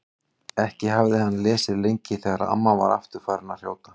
Ekki hafði hann lesið lengi þegar amma var aftur farin að hrjóta.